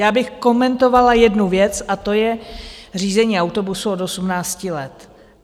Ráda bych komentovala jednu věc a to je řízení autobusu od 18 let.